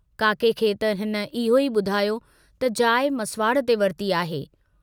काके खे त हिन इहो ई बुधायो त जाइ मसवाड़ ते वरिती आहे।